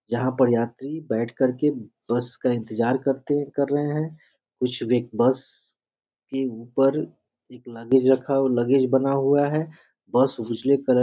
यहाँ पर यात्री बैठ कर के बस का इंतिजर करते कर रहें हैं कुछ व्यय बस के उपर लगेज रखा हुआ लगेज बना हुआ है --